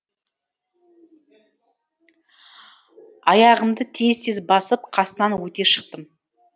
аяғымды тез тез басып қасынан өте шықтым